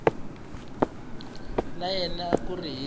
ka yena a ku ri